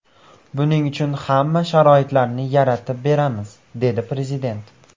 Buning uchun hamma sharoitlarni yaratib beramiz”, – dedi Prezident.